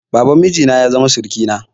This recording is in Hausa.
Baban miji na ya zama surukina.